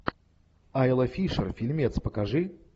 айла фишер фильмец покажи